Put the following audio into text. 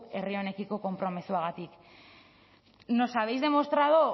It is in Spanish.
herri honekiko konpromisoagatik nos habéis demostrado